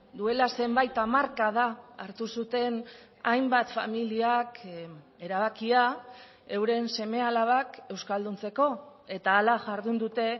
duela zenbait hamarkada hartu zuten hainbat familiak erabakia euren seme alabak euskalduntzeko eta hala jardun dute